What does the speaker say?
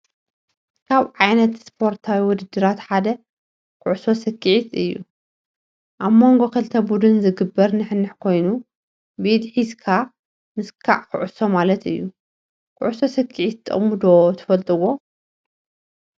ካብ ዓይነታ ስፖርታዊ ውድድራት ሓደ ኩዕሶ ስክዔት እዩ፡፡ ኣብ መንጎ ክልተ ቡድን ዝግበር ንሕንሕ ኮይኑ ብኢድ ሒዝካ ምስካዕ ኩዕሶ ማለት እዩ፡፡ ኩዕሶ ስኬዔት ጥቕሙ ዶ ትፈልጥዎ?